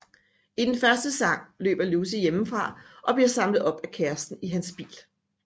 I den første sang løber Lucy hjemmefra og bliver samlet op af kæresten i hans bil